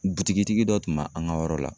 Butigi dɔ tun b'a an ka yɔrɔ la